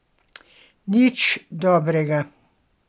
Nič dobrega.